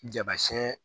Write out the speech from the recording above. Jaba sɛn